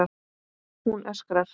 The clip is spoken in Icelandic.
Hún öskrar.